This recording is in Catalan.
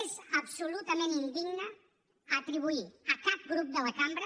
és absolutament indigne atribuir a cap grup de la cambra